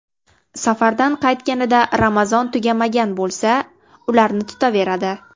Safardan qaytganida Ramazon tugamagan bo‘lsa, ularni tutaveradi.